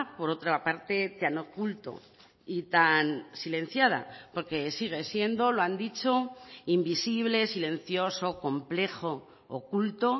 por otra parte tan oculto y tan silenciada porque sigue siendo lo han dicho invisible silencioso complejo oculto